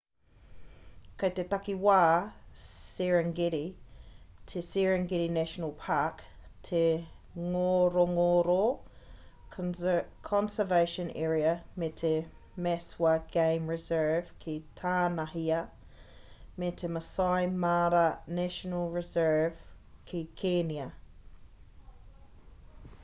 kei te takiwā serengeti te serengeti national park te ngorongoro conservation area me te maswa game reserve ki tānahia me te maasai mara national reserve ki kēnia